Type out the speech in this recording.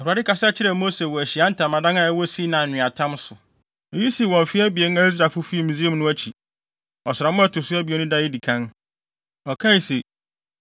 Awurade kasa kyerɛɛ Mose wɔ Ahyiae Ntamadan a ɛwɔ Sinai nweatam so. Eyi sii wɔ mfe abien a Israelfo fii Misraim no akyi, ɔsram a ɛto so abien no da a edi kan. Ɔkae se: